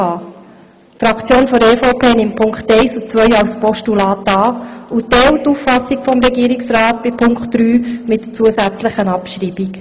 Die EVP-Fraktion nimmt die Punkte 1 und 2 als Postulat an und Punkt 3 als Motion mit gleichzeitiger Abschreibung.